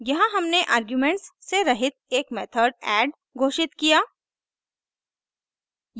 यहाँ हमने आर्ग्यूमेंट्स से रहित एक मेथड add घोषित किया